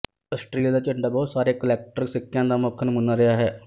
Austria ਦਾ ਝੰਡਾ ਬਹੁਤ ਸਾਰੇ ਕੁਲੈਕਟਰ ਸਿੱਕਿਆਂ ਦਾ ਮੁੱਖ ਨਮੂਨਾ ਰਿਹਾ ਹੈ